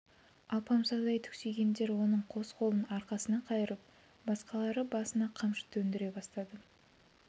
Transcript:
алпамсадай түксигендер оның қос қолын арқасына қайырып басқалары басына қамшы төндіре бастады